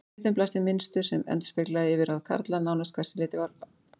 Við þeim blasti mynstur sem endurspeglaði yfirráð karla, nánast hvert sem litið var.